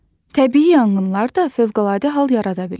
Təbii yanğınlar da fövqəladə hal yarada bilir.